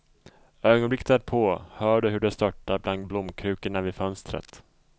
Ögonblicket därpå hör du hur det störtar bland blomkrukorna vid fönstret.